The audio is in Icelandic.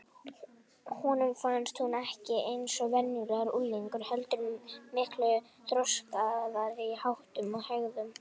Honum fannst hún ekki eins og venjulegur unglingur heldur miklu þroskaðri í háttum og hegðun.